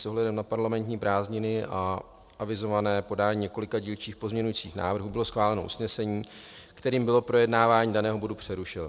S ohledem na parlamentní prázdniny a avizované podání několika dílčích pozměňovacích návrhů bylo schváleno usnesení, kterým bylo projednávání daného bodu přerušeno.